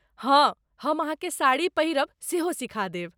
हँ, हम अहाँकेँ साड़ी पहिरब सेहो सिखा देब।